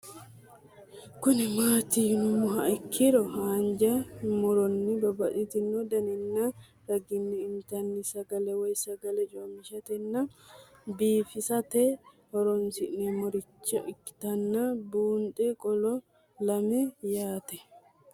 Kuni mati yinumoha ikiro hanja muroni babaxino daninina ragini intani sagale woyi sagali comishatenna bifisate horonsine'morich ikinota bunxana qoleno lame yaate?